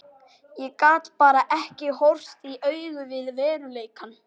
Ég gat bara ekki horfst í augu við veruleikann.